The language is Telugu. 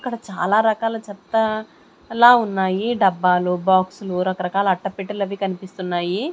ఇక్కడ చాలా రకాల చెత్తా అలా ఉన్నాయి డబ్బాలు బాక్సులు రకరకాల అట్టపెట్టలవి కనిపిస్తున్నాయి.